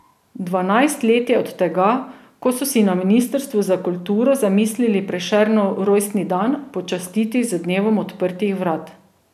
Dvanajst let je od tega, ko so si na ministrstvu za kulturo zamislili Prešernov rojstni dan počastiti z dnevom odprtih vrat.